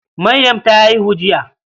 Maryam ta haihu jiya.